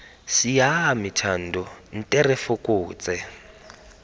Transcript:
siame thando nte re fokotse